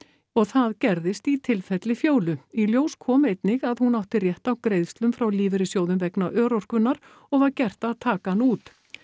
og það gerðist í tilfelli Fjólu í ljós kom einnig að hún átti rétt á greiðslum frá lífeyrissjóðnum vegna örorkunnar og var gert að taka hann út